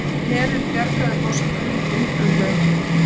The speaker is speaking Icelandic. Herinn bjargaði forsetanum undan lögreglu